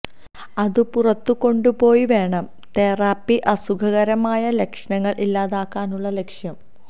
അതു പുറത്തു കൊണ്ടുപോയി വേണം തെറാപ്പി അസുഖകരമായ ലക്ഷണങ്ങൾ ഇല്ലാതാക്കാനുള്ള ലക്ഷ്യം